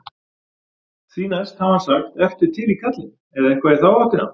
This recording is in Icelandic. Því næst hafi hann sagt ertu til í kallinn? eða eitthvað í þá áttina.